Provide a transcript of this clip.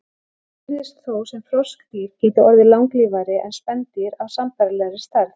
Svo virðist þó sem froskdýr geti orðið langlífari en spendýr af sambærilegri stærð.